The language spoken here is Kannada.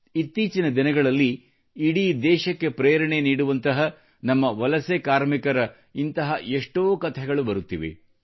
ಇತ್ತೀಚಿನ ದಿನಗಳಲ್ಲಿ ಇಡೀ ದೇಶಕ್ಕೆ ಪ್ರೇರಣೆ ನೀಡುವಂತಹ ನಮ್ಮ ವಲಸೆ ಕಾರ್ಮಿಕರ ಇಂತಹ ಕಥೆಗಳು ಬರುತ್ತಿವೆ